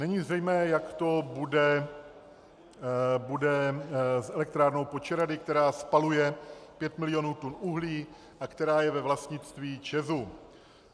Není zřejmé, jak to bude s elektrárnou Počerady, která spaluje pět milionů tun uhlí a která je ve vlastnictví ČEZ.